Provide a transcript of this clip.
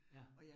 Ja